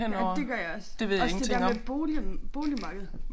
Ja det gør jeg også. Også det der med bolig boligmarked